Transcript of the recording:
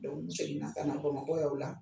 n segin na ka na Bamakɔ yan o la.